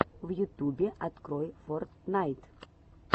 в ютубе открой фортнайт